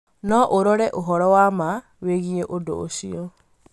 no ũrore ũhoro wa ma wĩgiĩ ũndũ ũcio